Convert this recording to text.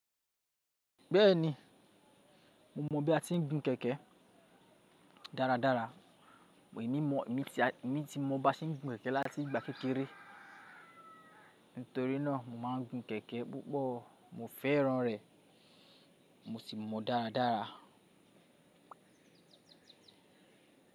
Bẹ́ẹ̀ni, mo mọ bí a ti ń gun kẹ̀kẹ́ dáradára. Èmi ti mọ bí a ṣe ń gun kẹ̀kẹ́ láti ìgbà kékeré, nítorí náà mo máa ń gun kẹ̀kẹ́ púpọ̀. Mo fẹ́ran rẹ̀ mo sì mọ dáradára.